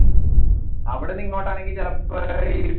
അവിടുന്ന് ഇങ്ങോട്ട് ആണെൽ